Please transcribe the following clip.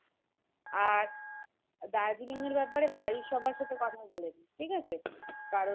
আর দার্জিলিং এর ব্যাপারে বাড়ির সবার সাথে কথা বলেনে ঠিক আছে? কারণ